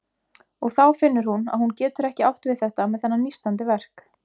Og þá finnur hún að hún getur ekki átt við þetta með þennan nístandi verk.